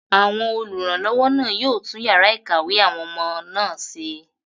àwọn olùrànlọ́wọ́ náà yóò tún yàrá ìkàwé àwọn ọmọ náà ṣe